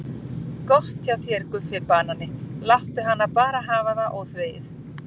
Gott hjá þér Guffi banani, láttu hana bara hafa það óþvegið.